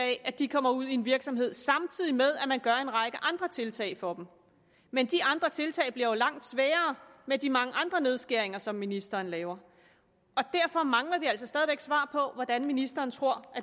at de kommer ud i en virksomhed samtidig med at man gør en række andre tiltag for dem men de andre tiltag bliver jo langt sværere med de mange andre nedskæringer som ministeren laver derfor mangler vi altså stadig væk svar på hvordan ministeren tror